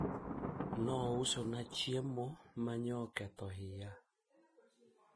aliniuzia chakula ambacho kiliniharibu tumbo